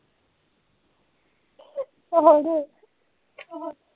ਹੋਰ